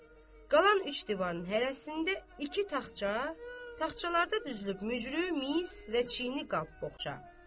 Qalan üç divarın hərəsində iki taxtça, taxtçalarda düzülüb mücrü, mis və çini qab-boğça.